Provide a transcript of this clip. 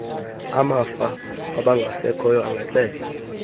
amafa wabangasekhoyo engaxelwa